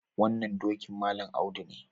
Wannan dokin Malam Audu ne.